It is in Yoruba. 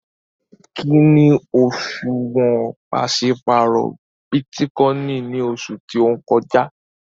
Kíni òṣuwọ́n pàṣipárọ̀ Bitikòinì ní oṣù tó n kọ́jà?